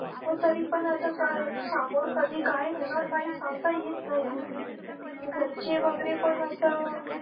हो तरी पण आता काय समोर कधी काय होणार काही सांगता येत नाही. घरचे वगैरे पण असं